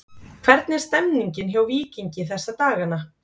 Hvernig er stemmningin hjá Víkingi þessa dagana?